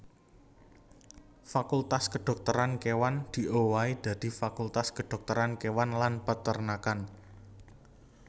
Fakultas Kedhokteran Kéwan diowahi dadi Fakultas Kedhokteran Kéwan lan Peternakan